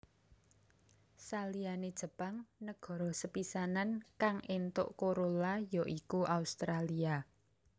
Saliyane Jepang negara sepisanan kang éntuk Corolla ya iku Australia